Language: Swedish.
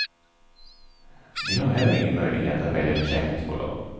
Vi har heller ingen möjlighet att välja försäkringsbolag.